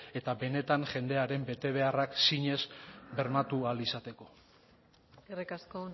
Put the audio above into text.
eta benetan jendearen betebeharrak zinez bermatu ahal izateko eskerrik asko